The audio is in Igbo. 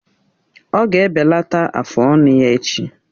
Ọ ga-ebelata afụ ọnụ ya echi.